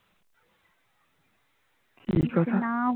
কি কথা